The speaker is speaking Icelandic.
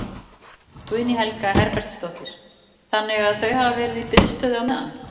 Guðný Helga Herbertsdóttir: Þannig að þau hafa verið í biðstöðu á meðan?